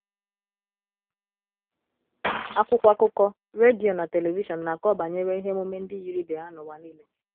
Akwụkwọ akụkọ, redio, na telivishọn na - akọ banyere ihe emume ndi yiri ibe ha n’ụwa nile.